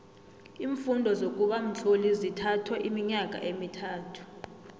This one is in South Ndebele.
iimfundo zokuba mtloli zithatho iminyaka emithathu